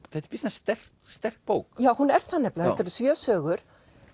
býsna sterk sterk bók já hún er það nefnilega þetta eru sjö sögur